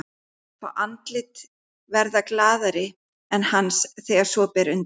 Fá andlit verða glaðari en hans þegar svo ber undir.